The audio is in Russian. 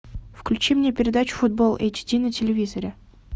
включи мне передачу футбол эйч ди на телевизоре